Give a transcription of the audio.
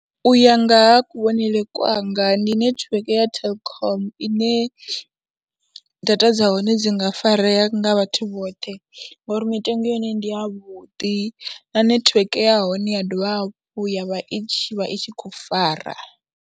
U ya nga ha kuvhonele kwanga ndi netiweke ya Telkom ine data dza hone dzi nga farea nga vhathu vhoṱhe, ngori mitengo ya hone ndi yavhuḓi na netiweke ya hone ya dovha hafhu ya vha i tshi vha i tshi khou fara.